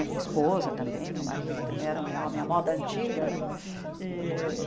E esposa também, meu marido também era um homem, a moda antiga, né? Eh